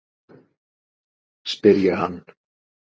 spyr ég hann.